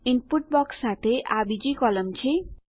input box સાથે આ બીજી કોલમ છે